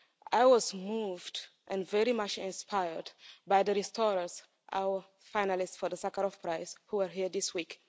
I was moved and very much inspired by The Restorers, our finalists for the Sakharov Prize, who are here this week.